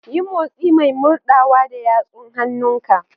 Yi motsi mai murɗawa da yatsun hannunka.